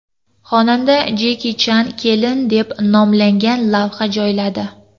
Xonanda Jeki Chan kelin deb nomlangan lavha joyladi.